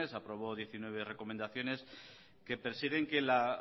aprobó diecinueve recomendaciones que persiguen que la